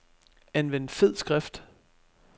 Anvend fed skrift.